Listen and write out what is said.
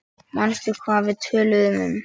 Manstu hvað við töluðum um?